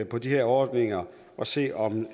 på de her ordninger og se om